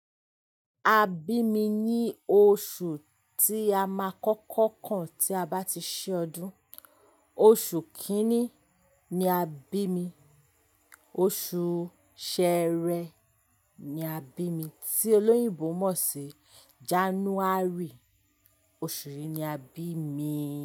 A bí mi ní oṣù tí a má kọ́kọ́ kan tí a bá ti ṣe ọdún. Oṣù kìíní ni a bí mi. Oṣù Sẹẹrẹ ni a bí mi tí olóyìnbo mọ̀ sí January. Oṣù yìí ni a bí mi.